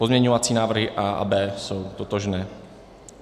Pozměňovací návrhy A a B jsou totožné.